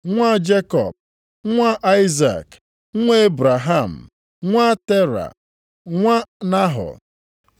nwa Jekọb, nwa Aịzik, nwa Ebraham, nwa Tera, nwa Nahọ;